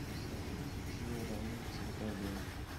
салют включи рамиль вся такая в белом